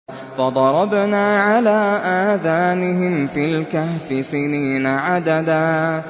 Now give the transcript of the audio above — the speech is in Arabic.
فَضَرَبْنَا عَلَىٰ آذَانِهِمْ فِي الْكَهْفِ سِنِينَ عَدَدًا